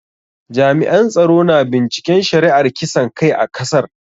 Jami'an tsaro na binciken shari'ar kisan kai a kasar.